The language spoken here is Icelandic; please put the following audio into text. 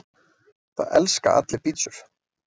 Það elska allir pizzur!